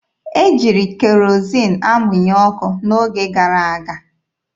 E jiri kerozin amụnye ọkụ n'oge gara aga.